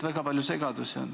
Väga palju segadust on.